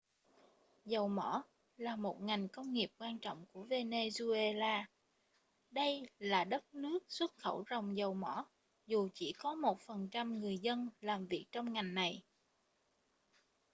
dầu mỏ là một ngành công nghiệp quan trọng của venezuela đây là đất nước xuất khẩu ròng dầu mỏ dù chỉ có 1% người dân làm việc trong ngành này